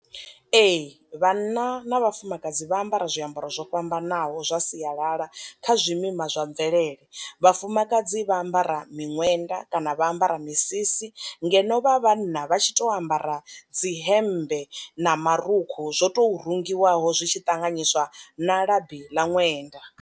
Ee vhanna na vhafumakadzi vha ambara zwiambaro zwo fhambanaho zwa sialala kha zwi mima zwa mvelele, vhafumakadzi vha ambara miṅwenda kana vha ambara misisi, ngeno vha vhanna vha tshi to ambara dzi hembe na marukhu zwo tou rungiwaho zwitshi ṱanganyiswa na labi ḽa ṅwenda.